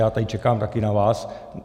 Já tady čekám taky na vás.